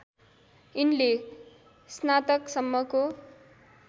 यिनले स्नातकसम्मको